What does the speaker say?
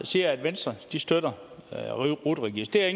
siger at venstre støtter rut registeret